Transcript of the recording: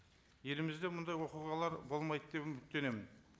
елімізде мұндай оқиғалар болмайды деп үміттенемін